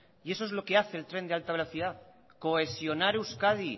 eso es lo que hace el tren de alta velocidad cohesionar euskadi